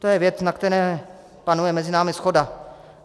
To je věc, na které panuje mezi námi shoda.